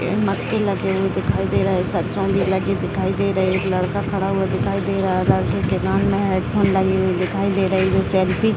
मक्के लगे हुए दिखाई दे रहे सरसों भी लगे दिखाई दे रहे एक लड़का खड़ा हुआ दिखाई दे रहा लड़के के कान में हैड फ़ोन लगे हुए दिखाई दे रही वो सेल्फी --